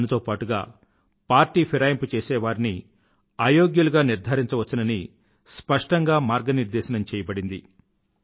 దానితో పాటుగా పార్టీ ఫిరాయింపు చేసేవారిని అయోగ్యులుగా నిర్ధారించవచ్చని స్పష్టంగా మార్గనిర్దేశం చెయ్యబడింది